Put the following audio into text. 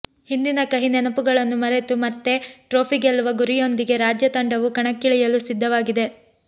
ಹಿಂದಿನ ಕಹಿನೆನಪುಗಳನ್ನು ಮರೆತು ಮತ್ತೆ ಟ್ರೋಫಿ ಗೆಲ್ಲುವ ಗುರಿಯೊಂದಿಗೆ ರಾಜ್ಯ ತಂಡವು ಕಣಕ್ಕಿಳಿಯಲು ಸಿದ್ಧವಾಗಿದೆ